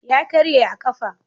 Ya karye a ƙafa.